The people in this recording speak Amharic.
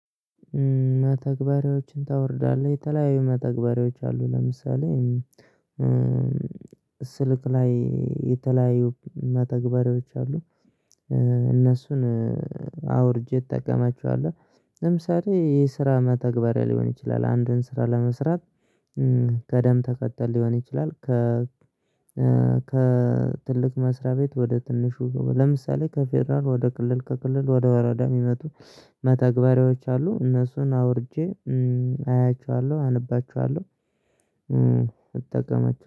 መተግበሪያዎችን ታወርዳለህ የተለያዩ መተግበሪያዎች አሉ ለምሳሌ ስልክ ላይ የተለያዩ መተግበሪያዎች አሉ። እነሱን እጠቀማቸዋለህ ለምሳሌ ይሄ የስራ መተግበሪያ ሊሆን ይችላል። አንድን ስራ ለመስራት ቅደም ተከተል ሊሆን ይችላል። ከ ከ ትልቅ መስራት ቤት ወደ ትንሹ ለምሳሌ ከፌደራል ወደ ክልል ከክልል ወደ ወረዳ የሚመጡ መተግበሪያዎች አሉ። እነሱን አውርጄ አያችኋለሁ አነባችኋለሁ እጠቀማቸ